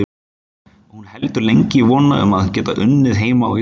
Og hún heldur lengi í vonina um að geta unnið heima á Íslandi.